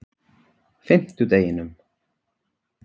fimmtudeginum